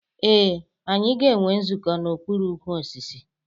Ee, anyị ga-enwe nzukọ n'okpuru ukwu osisi.